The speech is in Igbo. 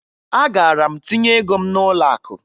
Agara m tinye ego m n'ụlọakụ